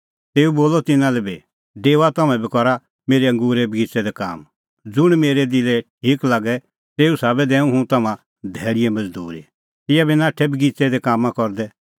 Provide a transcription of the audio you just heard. तेऊ बोलअ तिन्नां लै बी डेओआ तम्हैं बी करा मेरै अंगूरे बगिच़ै दी काम ज़ुंण मुंह मेरै दिलै ठीक लागे तेऊ साबै दैंऊं हुंह तम्हां धैल़ीए मज़दूरी तिंयां बी नाठै बगिच़ै दी कामां करदै